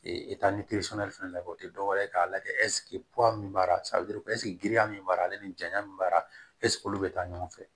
fɛnɛ lajɛ o tɛ dɔwɛrɛ ye k'a lajɛ min b'a la giriya min b'a la ale ni janya min b'a olu bɛ taa ɲɔgɔn fɛ